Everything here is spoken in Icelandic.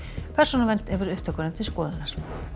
persónuvernd hefur upptökuna til skoðunar